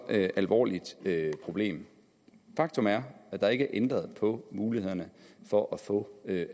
alvorligt problem faktum er at der ikke er ændret på mulighederne for at få